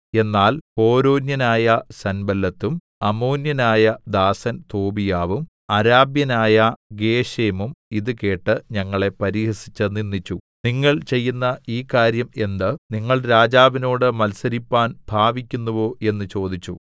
എന്നാൽ ഹോരോന്യനായ സൻബല്ലത്തും അമ്മോന്യനായ ദാസൻ തോബീയാവും അരാബ്യനായ ഗേശെമും ഇത് കേട്ട് ഞങ്ങളെ പരിഹസിച്ച് നിന്ദിച്ചു നിങ്ങൾ ചെയ്യുന്ന ഈ കാര്യം എന്ത് നിങ്ങൾ രാജാവിനോട് മത്സരിപ്പാൻ ഭാവിക്കുന്നുവോ എന്ന് ചോദിച്ചു